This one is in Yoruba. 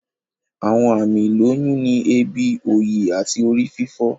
Àwọn àmì ìlóyún ni èébì, òòyì, àti orí fífọ́